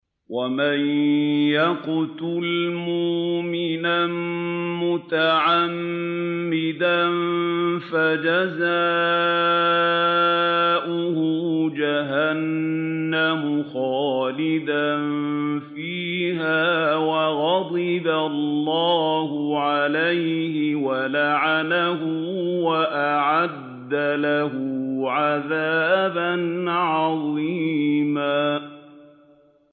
وَمَن يَقْتُلْ مُؤْمِنًا مُّتَعَمِّدًا فَجَزَاؤُهُ جَهَنَّمُ خَالِدًا فِيهَا وَغَضِبَ اللَّهُ عَلَيْهِ وَلَعَنَهُ وَأَعَدَّ لَهُ عَذَابًا عَظِيمًا